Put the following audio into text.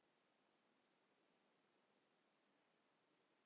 Guðfræðileg siðfræði, sagði hann, hefði annars konar nálgun.